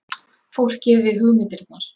Fólkið við hugmyndirnar.